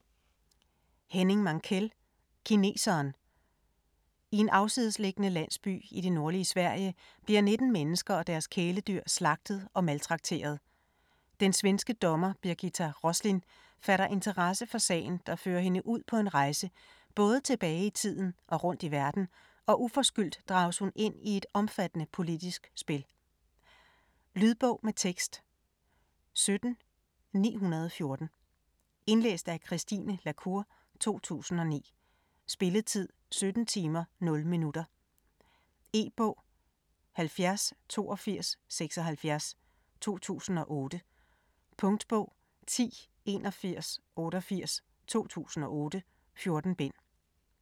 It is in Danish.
Mankell, Henning: Kineseren I en afsidesliggende landsby i det nordlige Sverige bliver 19 mennesker og deres kæledyr slagtet og maltrakteret. Den svenske dommer Birgitta Roslin fatter interesse for sagen der fører hende ud på en rejse både tilbage i tiden og rundt i verden, og uforskyldt drages hun ind i et omfattende politisk spil. Lydbog med tekst 17914 Indlæst af Christine la Cour, 2009. Spilletid: 17 timer, 0 minutter. E-bog 708276 2008. Punktbog 108188 2008. 14 bind.